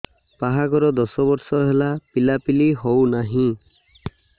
ବାହାଘର ଦଶ ବର୍ଷ ହେଲା ପିଲାପିଲି ହଉନାହି